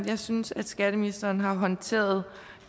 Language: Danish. jeg synes at skatteministeren har håndteret